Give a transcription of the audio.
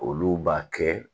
Olu b'a kɛ